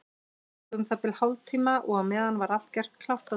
Það tók um það bil hálftíma og á meðan var allt gert klárt á dekki.